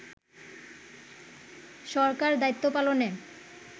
সরকার দায়িত্ব পালনে